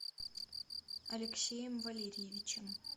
алексеем валерьевичем